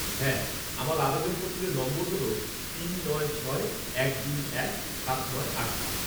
হ্যাঁ, আমার আবেদনপত্রের নম্বর হল তিন নয় ছয় এক দুই এক সাত নয় আট পাঁচ।